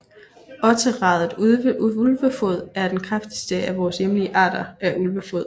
Otteradet ulvefod er den kraftigste af vores hjemlige arter af Ulvefod